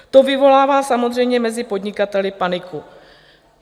To vyvolává samozřejmě mezi podnikateli paniku.